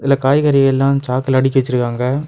இந்த காய்கறி எல்லாம் சாக்குல அடிக்க வச்சிருக்காங்க.